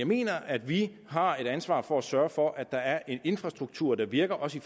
mener jeg at vi har et ansvar for at sørge for at der er en infrastruktur der virker også i